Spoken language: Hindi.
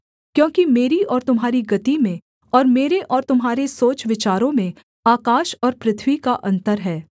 क्योंकि मेरी और तुम्हारी गति में और मेरे और तुम्हारे सोच विचारों में आकाश और पृथ्वी का अन्तर है